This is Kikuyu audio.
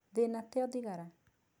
Thĩna tĩ o thigara.